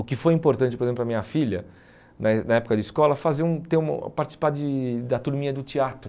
O que foi importante, por exemplo, para a minha filha, na é na época de escola, fazer um ter um participar de da turminha do teatro.